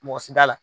Mɔgɔ si t'a la